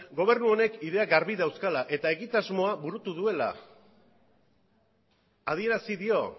gobernu honek ideiak garbi dauzkala eta egitasmoa burutu duela adierazi dio